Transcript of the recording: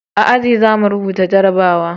A aji za mu rubuta jarabawa